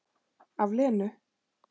Af Lenu.